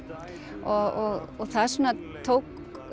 og það tók